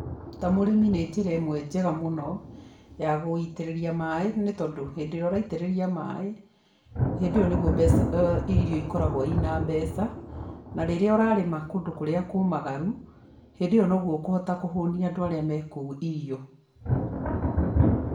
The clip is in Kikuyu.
Ta mũrĩmi nĩ njĩra ĩmwe njega mũno ya gũitĩrĩria maĩ nĩ tondũ hĩndĩ ĩrĩa ũraitĩrĩria maĩ, hĩndĩ ĩyo nĩguo mbeca irio ikoragwo ina mbeca, na rĩrĩa ũrarĩma kũndũ kũrĩa kũmagaru, hĩndĩ ĩyo noguo ũkũhota kũhũnia andũ arĩa mekũu irio.